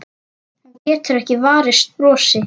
Hún getur ekki varist brosi.